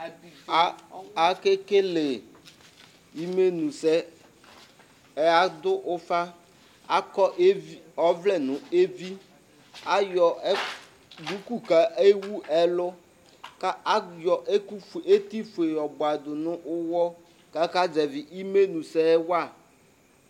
Akekele imenʋsɛ Adʋ ʋfa Akɔ evi ɔvlɛ nʋ evi Ayɔ duku kʋ ewʋ ɛlʋ kʋ ayɔ ɛkʋ fue, eti fue yɔbuadʋ nʋ ʋwɔ kʋ akazɛvi imenʋsɛ wa